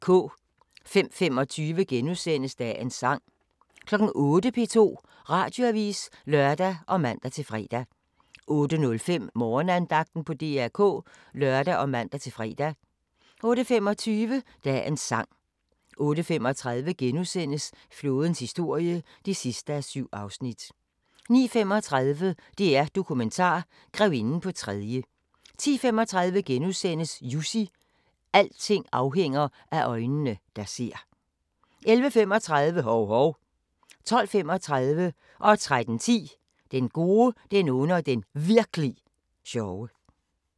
05:25: Dagens sang * 08:00: P2 Radioavis (lør og man-fre) 08:05: Morgenandagten på DR K (lør og man-fre) 08:25: Dagens sang 08:35: Flådens historie (7:7)* 09:35: DR-Dokumentar: Grevinden på tredje 10:35: Jussi – alting afhænger af øjnene, der ser * 11:35: Hov-Hov 12:35: Den gode, den onde og den Virk'li sjove 13:10: Den gode, den onde og den Virk'li sjove